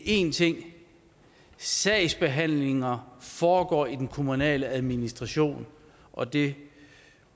én ting sagsbehandlinger foregår i den kommunale administration og det